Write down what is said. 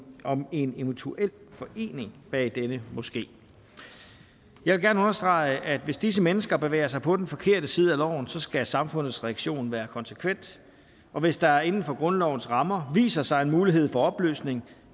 om en eventuel forening bag denne moské jeg vil gerne understrege at hvis disse mennesker bevæger sig på den forkerte side af loven skal samfundets reaktion være konsekvent og hvis der inden for grundlovens rammer viser sig en mulighed for opløsning